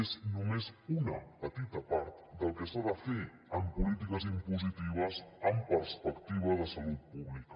és només una petita part del que s’ha de fer en polítiques impositives amb perspectiva de salut pública